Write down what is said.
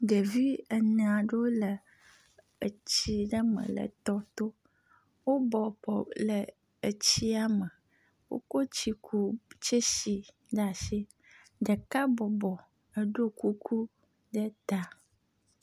Ɖevi ene aɖewo le etsi aɖe me le tɔto. Wo bɔbɔ le etsia me. Wokɔ tsikutsesi ɖe asi. Ɖeka bɔbɔ eɖo kuku ɖe ta.